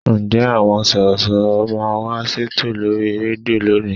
Ǹjẹ́ àwọn Sọ̀rọ̀ṣọ̀rọ̀ máa wá ṣètò lórí rédíò lónìí?